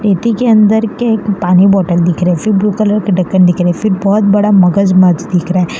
खेती के अंदर के पानी बोतल दिख रहे फिर ब्लू कलर के ढक्कन दिख रहे फिर बहोत बड़ा मगजमज दिख रा हे --